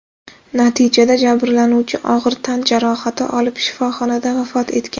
Natijada jabrlanuvchi og‘ir tan jarohati olib, shifoxonada vafot etgan.